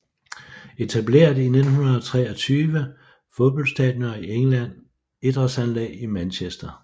Etableret i 1923 Fodboldstadioner i England Idrætsanlæg i Manchester